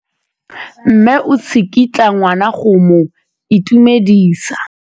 Mme o tsikitla ngwana go mo itumedisa.